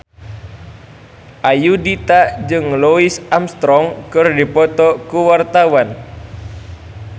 Ayudhita jeung Louis Armstrong keur dipoto ku wartawan